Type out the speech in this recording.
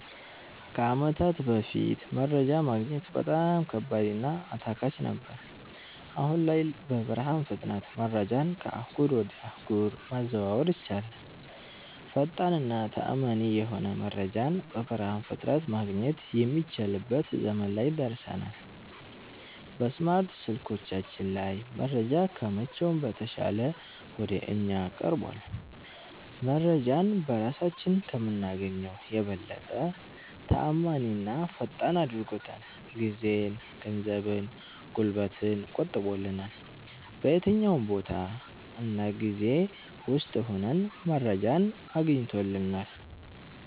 ከአመታት በፋት መረጃ ማግኘት በጣም ከባድ እና አታካች ነገር ነበር። አሁን ላይ በብርሃን ፍጥነት መረጃን ከአህጉር ወጀ አህጉር ማዘዋወር ይቻላል። ፈጣን እና ተአመኒ የሆነ መረጃን በብርሃን ፍጥነት ማገኘት የሚችልበት ዘመን ላይ ደርሠናል። በስማርት ስልኮቻችን ላይ መረጃ ከመቼውም በተሻለ ወደ እኛ ቀርቧል። መረጄን በራሳችን ከምናገኘው የበለጠ ተአማኒና ፈጣን አድርጎታል። ጊዜን፣ ገንዘብን፣ ጉልበትን ቆጥቦልናል። በየትኛውም ቦታ እና ጊዜ ውስጥ ሁነን መረጃን አስገኝቶልናል።